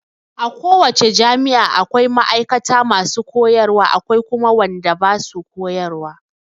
A ko wace jami'a akwai ma'aikata masu koyarwa akwai kuma wadanda basu koyarwa.